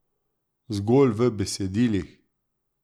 Zgolj v besedilih?